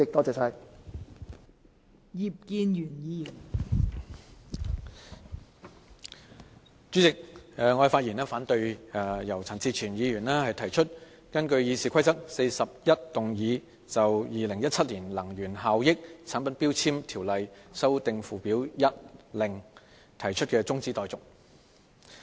代理主席，我發言反對由陳志全議員提出根據《議事規則》第401動議就《2017年能源效益條例令》提出的中止待續議案。